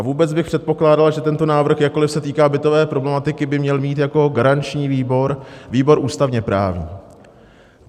A vůbec bych předpokládal, že tento návrh, jakkoli se týká bytové problematiky, by měl mít jako garanční výbor výbor ústavně-právní.